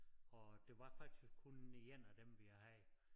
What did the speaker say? Og det var faktisk kun den ene af dem vi havde